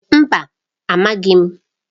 Mba! Amaghị m.